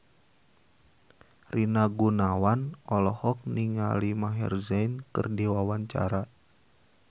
Rina Gunawan olohok ningali Maher Zein keur diwawancara